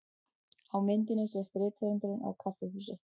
Á myndinni sést rithöfundurinn á kaffihúsi.